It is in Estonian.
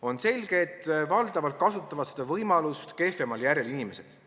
On selge, et valdavalt kasutavad seda võimalust kehvemal järjel inimesed.